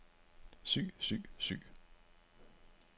syg syg syg